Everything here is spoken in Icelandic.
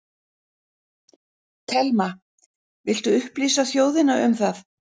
Telma: Viltu upplýsa þjóðina um það?